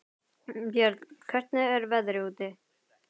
Björn, hvernig er veðrið úti?